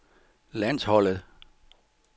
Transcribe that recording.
landsholdet